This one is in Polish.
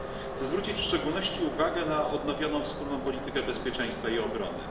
Chcę zwrócić w szczególności uwagę na odnowioną wspólną politykę bezpieczeństwa i obrony.